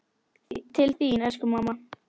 Til þín elsku mamma.